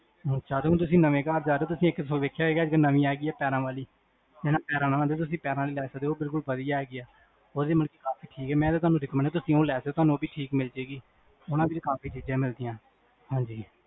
ਹੁਣ ਤੁਸੀਂ ਨਵੇ ਘਰ ਜਾਰੇ ਹੋ, ਤੁਸੀਂ ਇਕ ਚੀਜ ਵੇਖਿਆ ਹੋਏਗਾ, ਹੁਣ ਨਵੀ ਆਗੀ ਆ ਪੈਰਾਂ ਵਾਲੀ ਹੈਨਾ? ਤੁਸੀਂ ਪੈਰਾਂ ਆਲੀ ਲੈ ਸਕਦੇ ਹੋ ਓਹ ਬਿਲਕੁਲ ਵਡੀਆ ਹੈਗੀ ਆ